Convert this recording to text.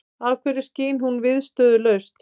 Af hverju skín hún viðstöðulaust?